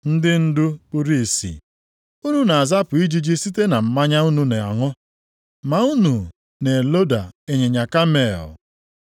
Ndị ndu kpuru ìsì! Unu na-azapụ ijiji site na mmanya unu na-aṅụ, ma unu na-eloda ịnyịnya kamel.